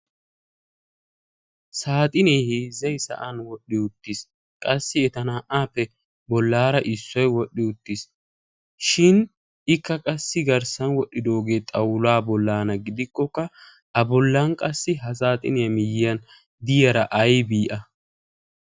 saaxinee hizzei sa7an wodhdhi uttiis. qassi eta naa77aappe bollaara issoi wodhdhi uttiis. shin ikka qassi garssan wodhdhidoogee xawulaa bollaana gidikkokka a bollan qassi ha saaxiniyee miyyiyan diyaara aibii a?